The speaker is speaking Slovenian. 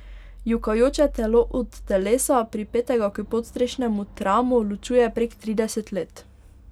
Jokajoče telo od telesa, pripetega k podstrešnemu tramu, ločuje prek trideset let.